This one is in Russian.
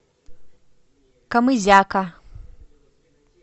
камызяка